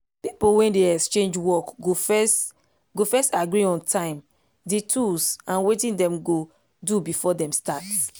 people wey dey exchange work go first go first agree on time d tools and wetin dem go do before dem start